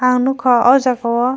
ang nogka o jaga o.